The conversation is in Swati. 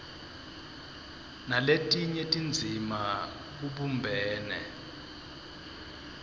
naletinye tindzima kubumbene